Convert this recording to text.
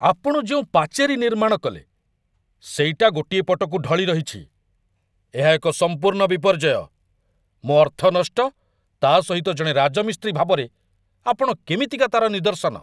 ଆପଣ ଯେଉଁ ପାଚେରୀ ନିର୍ମାଣ କଲେ, ସେଇଟା ଗୋଟିଏ ପଟକୁ ଢଳିରହିଛି ଏହା ଏକ ସମ୍ପୂର୍ଣ୍ଣ ବିପର୍ଯ୍ୟୟ, ମୋ ଅର୍ଥ ନଷ୍ଟ, ତା' ସହିତ ଜଣେ ରାଜମିସ୍ତ୍ରୀ ଭାବରେ ଆପଣ କେମିତିକା ତା'ର ନିଦର୍ଶନ।